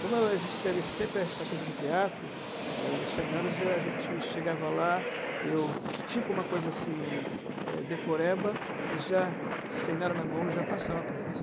Como a gente teve sempre essa coisa do teatro, os seminários a gente chegava lá, eu tipo uma coisa assim, é decoreba e já, sem nada na mão, e já passava para eles.